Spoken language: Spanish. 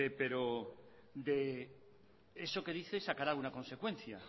pero de eso que dice sacará una consecuencia